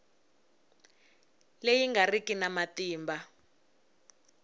leyi nga riki na matimba